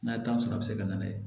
N'a ye tan sɔrɔ a bɛ se ka na n'a ye